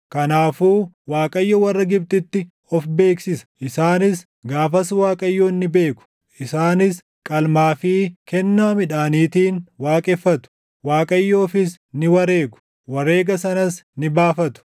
Kanaafuu Waaqayyo warra Gibxitti of beeksisa; isaanis gaafas Waaqayyoon ni beeku. Isaanis qalmaa fi kennaa midhaaniitiin waaqeffatu; Waaqayyoofis ni wareegu; wareega sanas ni baafatu.